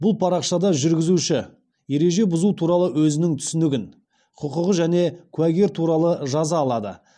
бұл парақшада жүргізуші ереже бұзу туралы өзінің түсінігін құқығы және куәгер туралы жаза алады